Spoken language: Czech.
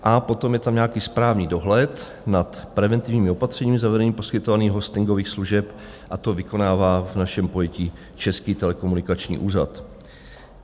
A potom je tam nějaký správní dohled nad preventivními opatřeními, zavedení poskytovaných hostingových služeb a to vykonává v našem pojetí Český telekomunikační úřad.